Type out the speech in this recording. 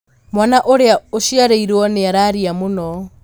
Mwana ũrĩa ũciarirwo nĩararĩra mũno